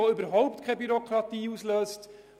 Es wird keine Bürokratie ausgelöst.